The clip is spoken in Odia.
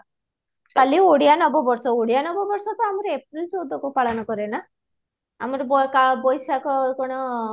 କାଲି ଓଡ଼ିଆ ନବ ବର୍ଷ ଓଡ଼ିଆ ନବ ବର୍ଷ ତ ଆମର april ଚଉଦ କୁ ପାଳନ କରେ ନା ଆମର ବୈଶାଖ କ'ଣ